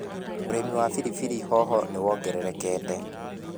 ũrimi wa pilipili hoho nĩwongererekete.